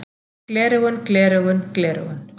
Gleraugun gleraugun gleraugun.